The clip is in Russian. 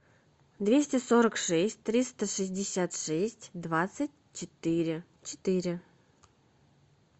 двести сорок шесть триста шестьдесят шесть двадцать четыре четыре